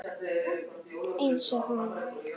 Eins og hana.